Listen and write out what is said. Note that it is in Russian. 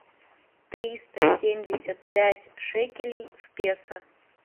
триста семьдесят пять шекелей в песо